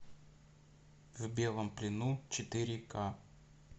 в белом плену четыре ка